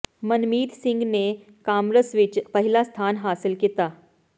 ਮਨਮੀਤ ਸਿੰਘ ਨੇ ਕਾਮਰਸ ਵਿੱਚ ਪਹਿਲਾ ਸਥਾਨ ਹਾਸਲ ਕੀਤਾ